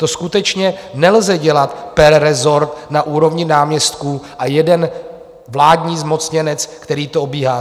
To skutečně nelze dělat per rezort na úrovni náměstků a jeden vládní zmocněnec, který to obíhá.